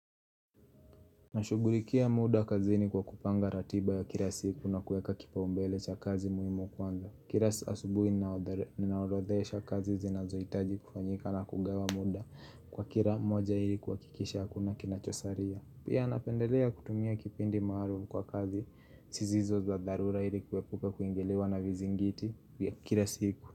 Nashugulikia muda kazini kwa kupanga ratiba ya kila siku na kueka kipaumbele cha kazi muhimu kwanza Kila asubuhi ninaorothesha kazi zinazohitaji kufanyika na kugawa muda kwa kila moja ilikuhakikisha hakuna kinachosaria Pia napendelea kutumia kipindi maalum kwa kazi sizizo za darura ilikuwepuka kuingilwa na vizi ngiti vya kila siku.